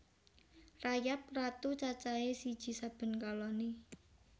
Rayap ratu cacahé siji saben koloni